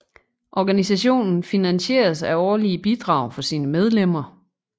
Organisationen finansieres af årlige bidrag fra sine medlemmer